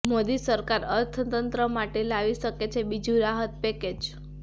મોદી સરકાર અર્થતંત્ર માટે લાવી શકે છે બીજું રાહત પેકેજ